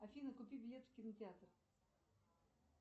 афина купи билет в кинотеатр